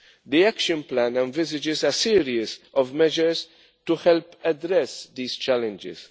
The Action Plan envisages a series of measures to help address these challenges.